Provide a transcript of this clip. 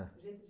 O jeito de